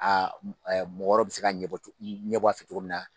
mɔgɔ wɛrɛw bɛ se ka ɲɛbɔ ɲɛbɔ a fɛ cogo min na.